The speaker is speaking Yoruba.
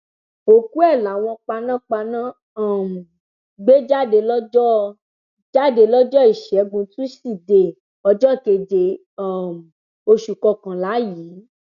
òkú ẹ làwọn panápaná um gbé jáde lọjọ jáde lọjọ ìṣẹgun túṣídéé ọjọ keje um oṣù kọkànlá yìí